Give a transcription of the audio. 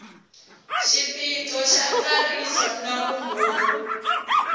xiphiqo xa ntsariso na vumbhoni